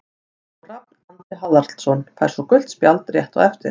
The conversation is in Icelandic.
Og Rafn Andri Haraldsson fær svo gult spjald rétt á eftir.